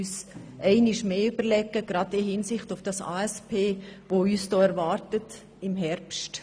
Gerade im Hinblick auf den Herbst 2017 müssen wir uns dies einmal mehr überlegen.